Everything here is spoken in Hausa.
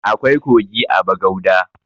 Akwai kogi a bagauda